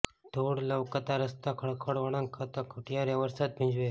ધૂળ લવકતા રસ્તા ખળખળ વળાંક ખાતા ખૂટ્યા રે વરસાદ ભીંજવે